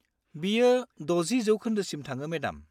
बेयो 60% सिम थाङो, मेडाम।